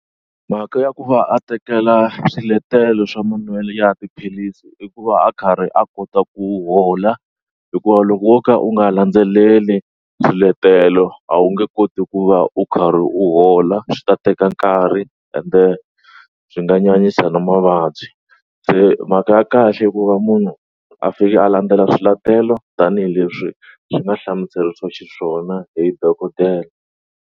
Mhaka ya ku va a tekela swiletelo swa manwelo ya tiphilisi i ku va a karhi a kota ku hola hikuva loko wo ka u nga landzeleli swiletelo a wu nge koti ku va u karhi u hola swi ta teka nkarhi ende swi nga nyanyisa na mavabyi se mhaka ya kahle hikuva munhu a fika a landzela swiletelo tanihileswi swi nga hlamuseriwa xiswona hi dokodela.